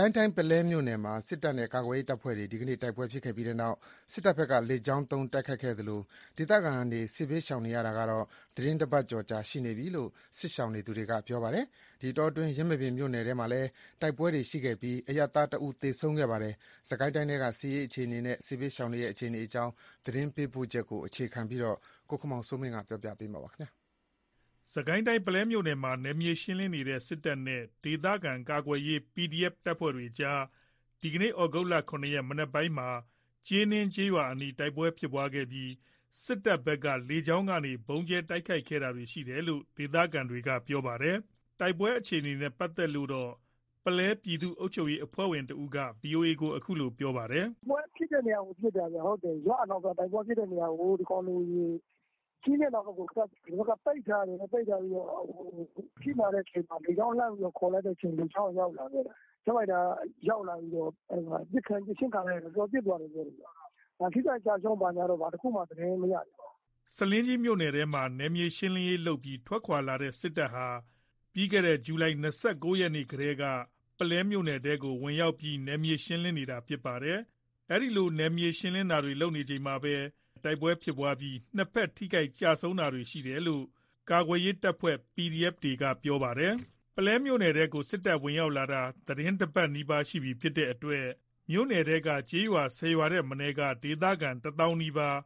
ိုင်းတိုင်း ပုလဲမြို့နယ်မှာ စစ်တပ်နဲ့ ကာကွယ်ရေး တပ်ဖွဲ့တွေ ဒီကနေ့ တိုက်ပွဲ ဖြစ်ပြီးတဲ့နောက် စစ်တပ်ဘက်က လေကြောင်းသုံး တိုက်ခိုက်ခဲ့သလို၊ ဒေသခံတွေ စစ်ဘေးရှောင်နေရတာ ကတော့ သီတင်း ၁ ပတ်ကျော် ရှိနေပြီလို့ စစ်ရှောင်နေသူတွေက ပြောပါတယ်။ ဒီအတောအတွင်း ယင်းမာပင်မြို့နယ် ထဲမှာလည်း တိုက်ပွဲတွေ ရှိခဲ့ပြီး အရပ်သား ၁ ဦး သေဆုံးခဲ့ပါတယ်။ စစ်ကိုင်းတိုင်းထဲက စစ်ရေး အခြေအနေနဲ့ စစ်ဘေးရှောင်တွေရဲ့ အခြေအနေတွေကိုတော့ ကိုခင်မောင်စိုးမင်းက စုစည်းတင်ပြပေးပါမယ်။ စစ်ကိုင်းတိုင်း ပုလဲမြို့နယ်မှာ နယ်မြေ ရှင်းလင်းနေတဲ့ စစ်တပ်နဲ့ ဒေသခံကာကွယ်ရေး တပ်ဖွဲ့တွေကြား ဒီကနေ့ သြဂုတ် ၇ ရက် မနက်ပိုင်းမှာ ကျေးနင်း ကျေးရွာအနီး တိုက်ပွဲဖြစ်ခဲ့ပြီး စစ်တပ်ဘက်က လေကြောင်းကနေ ဗုံးကြဲ တိုက်ခိုက်တာတွေ ရှိခဲ့တယ်လို့ ဒေသခံတွေက ပြောပါတယ်။ တိုက်ပွဲ အခြေအနေနဲ့ ပတ်သက်လို့တော့ ပုလဲပြည်သူ့ အုပ်ချုပ်ရေး အဖွဲ့ဝင်တဦးက ဗွီအိုအေကို ခုလို ပြောပါတယ်။ “တိုက်ပွဲဖြစ်တဲ့ နေရာကို ပစ်တာခင်ဗျ။ ရွာအနောက်ဘက်ကို။ ကျေးနင်း အနောက်ဘက်ကို ဒီဘက်က ပိတ်ထားတယ်။ အထိနာတဲ့အချိန်မှာ လေကြောင်းကနေ လှမ်းခေါ်လိုက်တဲ့အချိန် လေကြောင်းက ရောက်လာတယ်။ ဂျက်ဖိုက်တာ ရောက်လာပြီး ပစ်ခြင်း ခံလိုက်ရတယ်။ တော်တော်ပစ်သွားတယ် ပြောတယ်။ ထိခိုက်ကျဆုံး ဘာညာတော့ ဘာတခုမှ သတင်းမရသေးပါဘူး။” ဆားလင်းကြီးမြို့နယ်ထဲမှာ နယ်မြေ ရှင်းလင်းရေးလုပ်ပြီး ထွက်ခွာလာတဲ့ စစ်တပ်ဟာ ပြီးခဲ့တဲ့ ဇူလိုင် ၂၉ ရက်ကတည်းက ပုလဲမြို့နယ်ထဲကို ဝင်ရောက်ပြီး နယ်မြေ ရှင်းလင်းနေတာ ဖြစ်ပါတယ်။ ဒီလို နယ်မြေရှင်းလင်းတာတွေ လုပ်နေချိန်မှာပဲ ကာကွယ်ရေး တပ်ဖွဲ့တွေနဲ့ တိုက်ပွဲတွေ ဖြစ်ခဲ့ပြီး နှစ်ဘက်ထိခိုက်ကျဆုံးတာတွေ ရှိတယ်လို့ ကာကွယ်ရေးတပ်ဖွဲ့တွေက ပြောပါတယ်။ ပုလဲမြို့နယ်ထဲကို စစ်တပ် ဝင်ရောက်လာတာ သီတင်းတပတ် နီးပါး ရှိနေပြီ ဖြစ်တဲ့အတွက် မြို့နယ်ထဲက ကျေးရွာ ၁၀ ရွာထက်မနည်းက ဒေသခံ ၁ သောင်းနီးပါး